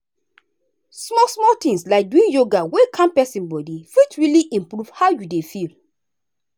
small-small tins like doing yoga wey calm person body fit really improve how you dey feel.